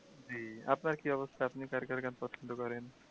জি আপনার কী অবস্থা আপনি কার কার গান পছন্দ করেন?